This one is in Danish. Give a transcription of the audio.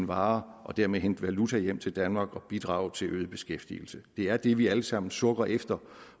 varer og dermed hente valuta hjem til danmark samt bidrage til øget beskæftigelse det er det vi alle sammen sukker efter